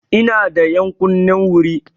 Ina da ƴankunnin wuri.